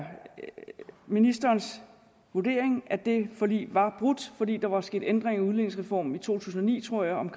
ministerens vurdering at det forlig var brudt fordi der var sket ændringer i udligningsreformen i to tusind og ni tror jeg om